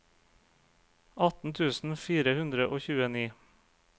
atten tusen fire hundre og tjueni